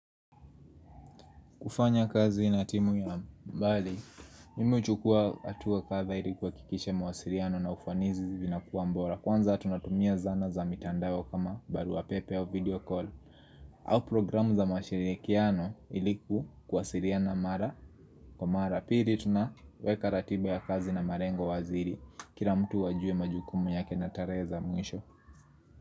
Kufanya kazi na timu ya mbali Mimi huchukua hatua kadha ili kuhakikisha mawasiriano na ufanizi vinakuwa mbora Kwanza tunatumia zana za mitandao kama baruapepe au video call au programu za mashirikiano ili kuwasiriana mara Kwa mara piri tunaweka ratiba ya kazi na marengo wazi iri Kira mtu ajue majukumu yake na tarehe za mwisho.